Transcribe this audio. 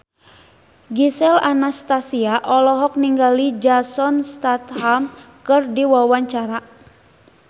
Gisel Anastasia olohok ningali Jason Statham keur diwawancara